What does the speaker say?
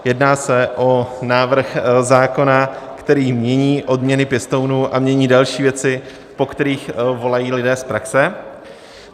Jedná se o návrh zákona, který mění odměny pěstounů a mění další věci, po kterých volají lidé z praxe.